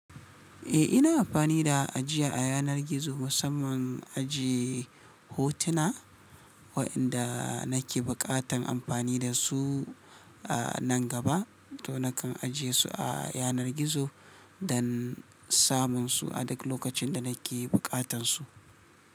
Eh ina amfani da ajiya a yanar gizo musamman ajiye hotuna waɗanda nake buƙatan amfani da su a nan gaba to nakan ajiye su a yanar gizo don samun su a duk lokacin da nake buƙatan su.